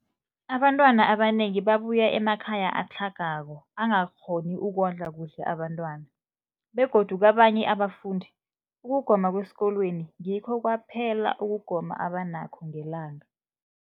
Abantwana abanengi babuya emakhaya atlhagako angakghoni ukondla kuhle abentwana, begodu kabanye abafundi, ukugoma kwesikolweni ngikho kwaphela ukugoma abanakho ngelanga.